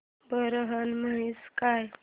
बोरनहाण म्हणजे काय